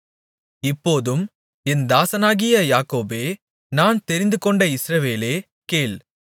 இப்போதும் என் தாசனாகிய யாக்கோபே நான் தெரிந்துகொண்ட இஸ்ரவேலே கேள்